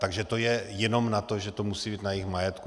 Takže to je jenom na to, že to musí být na jejich majetku.